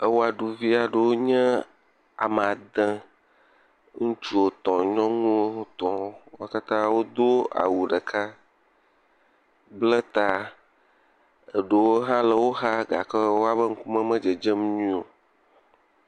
Ewɔɖuvi aɖewo nye ame ade, ŋutsu etɔ̃ nyɔnu etɔwo wo katã wodo awu ɖeka bla ta eɖewo hã le woxa bla ta gake woƒe ŋkume me dzedzem nyuie o.